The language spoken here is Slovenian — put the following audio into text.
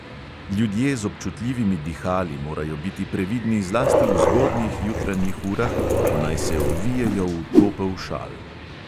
Ljudje z občutljivimi dihali morajo biti previdni zlasti v zgodnjih jutranjih urah, ko naj se ovijejo v topel šal.